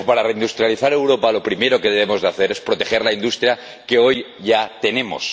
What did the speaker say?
Pero, para reindustrializar Europa, lo primero que debemos hacer es proteger la industria que hoy ya tenemos.